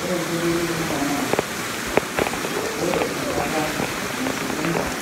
Ore enkoitoi naibung'a naa ore enkata nasieku enchan